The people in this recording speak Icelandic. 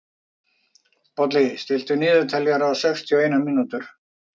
Bolli, stilltu niðurteljara á sextíu og eina mínútur.